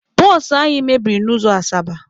Bụsụ anyị mebiri n'ụzọ Asaba.